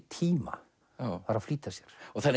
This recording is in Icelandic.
tíma og var að flýta sér